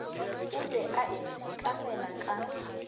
o be a itshekamela ka